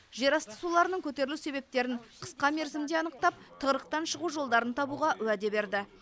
жерасты суларының көтерілу себептерін қысқа мерзімде анықтап тығырықтан шығу жолдарын табуға уәде берді